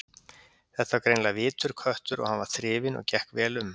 Þetta var greinilega vitur köttur og hann var þrifinn og gekk vel um.